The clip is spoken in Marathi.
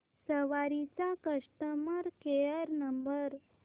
सवारी चा कस्टमर केअर नंबर